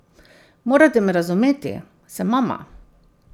Morate me razumeti, sem mama.